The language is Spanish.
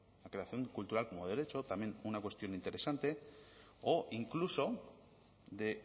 la creación cultural como derecho también una cuestión interesante o incluso de